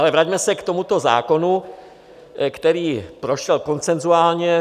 Ale vraťme se k tomuto zákonu, který prošel konsenzuálně.